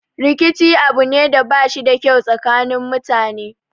Rikici abu ne da bashi da kyau a tsakanin mutane